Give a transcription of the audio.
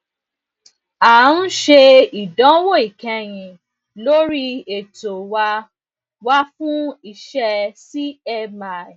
a ń ṣe ìdánwò ìkẹyìn lórí ètò wa wa fún iṣẹ cmi